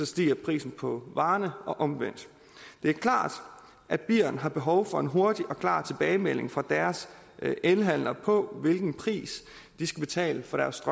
stiger prisen på varerne og omvendt det er klart at birn har behov for en hurtig og klar tilbagemelding fra deres elhandler på hvilken pris de skal betale for deres